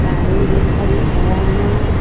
कालीन जैसा बिछाया हुआ है।